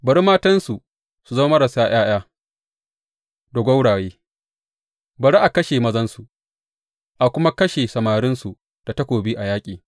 Bari matansu su zama marasa ’ya’ya da gwauraye; bari a kashe mazansu, a kuma kashe samarinsu da takobi a yaƙi.